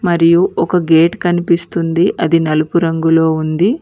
మరియు ఒక గేట్ కనిపిస్తుంది అది నలుపు రంగులో ఉంది.